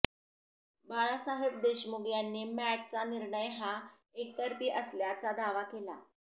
बाळासाहेब देशमुख यांनी मॅटचा निर्णय हा एकतर्फी असल्याचा दावा केला